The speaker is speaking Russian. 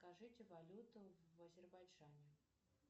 скажите валюту в азербайджане